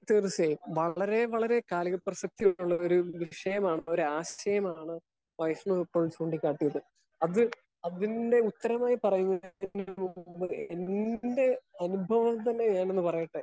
Speaker 1 തീർച്ചയായും വളരെ വളരെ കായിക പ്രസക്തിയായിട്ടുള്ള ഒരു ദൃശ്ചയമാണ് ഒരു ആശയമാണ് വൈഷ്ണവ് ഇപ്പോൾ ചൂണ്ടി കാട്ടിയത്. അത് അതിന്റെ അതിന്റെ ഉത്തരമായി പറയുന്നതിന് മുമ്പ് എൻറെ അനുഭവം തന്നെ ഞാനൊന്ന് പറയട്ടെ.